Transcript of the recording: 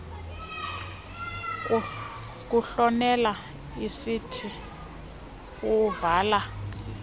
kuhlomela izinti uvala